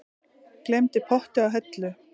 Gleymdi potti á hellu